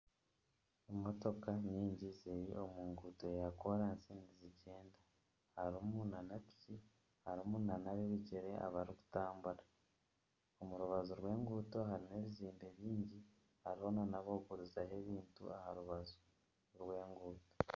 Emotoka nyingi ziri omu nguuto ya koransi nizigyenda. Harimu nana piki harimu nana ab'ebigyere abarikutambura. Omu rubaju rw'enguuto harimu ebizimbe bingi hariho nana abarikugurizaho ebintu aha rubaju rw'enguuto.